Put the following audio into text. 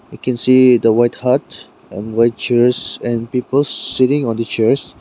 We can see the white hut and white chairs and people sitting on the chairs.